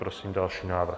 Prosím další návrh.